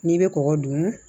N'i bɛ kɔgɔ dun